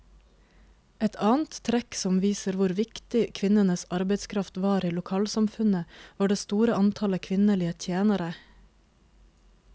Et annet trekk som viser hvor viktig kvinnenes arbeidskraft var i lokalsamfunnet, var det store antallet kvinnelige tjenere.